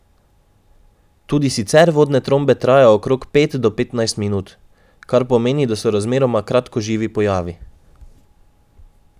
Tudi sicer vodne trombe trajajo okrog pet do petnajst minut, kar pomeni, da so razmeroma kratkoživi pojavi.